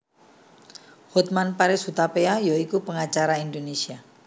Hotman Paris Hutapea ya iku pengacara Indonesia